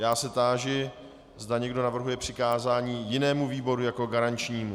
Já se táži, zda někdo navrhuje přikázání jinému výboru jako garančnímu.